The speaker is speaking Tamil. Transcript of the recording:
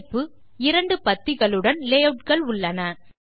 தலைப்பு இரண்டு பத்திகளுடன் லேயூட் கள் உள்ளன